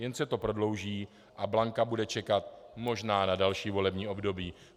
Jen se to prodlouží a Blanka bude čekat možná na další volební období.